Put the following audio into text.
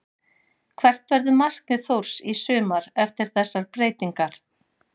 Hvert verður markmið Þórs í sumar eftir þessar breytingar?